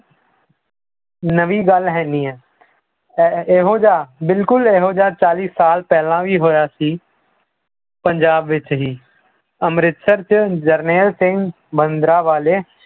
ਨਵੀਂ ਗੱਲ ਹੈਨੀ ਹੈ ਇਹ ਇਹੋ ਜਿਹਾ ਬਿਲਕੁਲ ਇਹੋ ਜਿਹਾ ਚਾਲੀ ਸਾਲ ਪਹਿਲਲਾਂ ਵੀ ਹੋਇਆ ਸੀ, ਪੰਜਾਬ ਵਿੱਚ ਹੀ ਅੰਮ੍ਰਿਤਸਰ 'ਚ ਜਰਨੈਲ ਸਿੰਘ ਭਿੰਦਰਾਂ ਵਾਲੇ